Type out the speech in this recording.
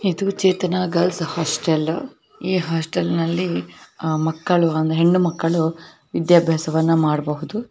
ಇದು Chetana girls hostel ಈ hostel ನಲ್ಲಿ ಮಕ್ಕಳು ಒಂದ ಹೆಣ್ಣ ಮಕ್ಕಳು ವಿದ್ಯಾಭ್ಯಾಸವನ್ನ ಮಾಡಬಹುದು.